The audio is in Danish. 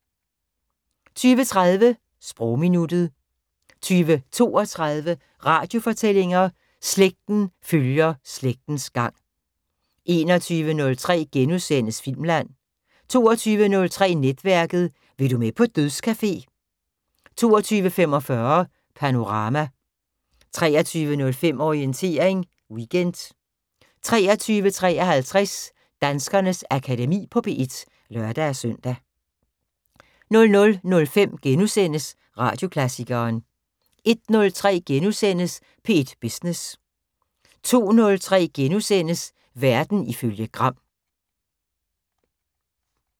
20:30: Sprogminuttet 20:32: Radiofortællinger: Slægten følger slægtens gang 21:03: Filmland * 22:03: Netværket: Vil du med på dødscafé? 22:45: Panorama 23:05: Orientering Weekend 23:53: Danskernes Akademi på P1 (lør-søn) 00:05: Radioklassikeren * 01:03: P1 Business * 02:03: Verden ifølge Gram *